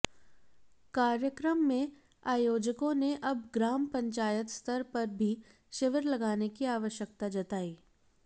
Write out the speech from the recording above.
कार्यक्रम में आयोजकों ने अब ग्राम पंचायत स्तर पर भी शिविर लगाने की आवश्यकता जताई